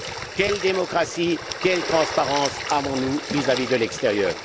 Quelle démocratie, quelle transparence avons nous vis à vis de l'extérieur?